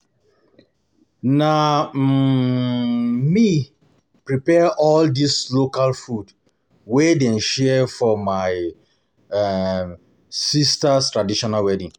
Na um me prepare all di local food wey dem share for my um sister traditional wedding.